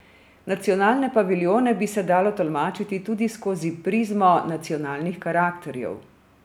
Nacionalne paviljone bi se dalo tolmačiti tudi skozi prizmo nacionalnih karakterjev.